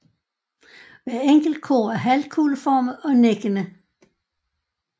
Hver enkelt kurv er halvkugleformet og nikkende